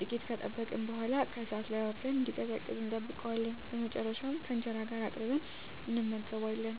ጥቂት ከጠበቅን በኃላ ከእሳት ላይ አውርደን እንዲቀዘቅዝ እንጠብቀዋለን። በመጨረሻም ከእንጀራ ጋር አቅርበን እንመገባለን።